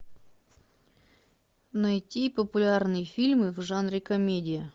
найти популярные фильмы в жанре комедия